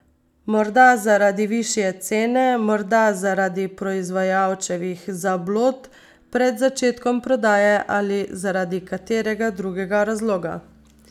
Morda zaradi višje cene, morda zaradi proizvajalčevih zablod pred začetkom prodaje ali zaradi katerega drugega razloga.